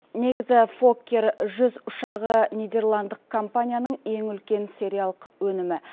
негізі фоккер жүз ұшағы нидерландық компанияның ең үлкен сериялық өнімі